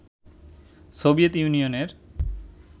Soviet ইউনিয়নের